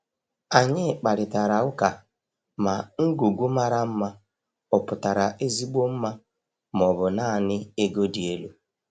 Anyị kparịtara ụka ma ngwugwu mara mma ọ pụtara ezigbo mma ma ọ bụ naanị ego dị elu.